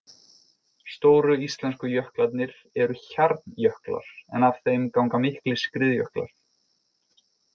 Stóru íslensku jöklarnir eru hjarnjöklar en af þeim ganga miklir skriðjöklar.